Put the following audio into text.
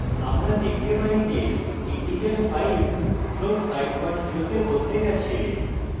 আমরা দেখতে পারি যে integer 5 float 50 তে বদলে গেছে